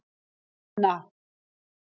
Lína